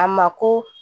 A ma ko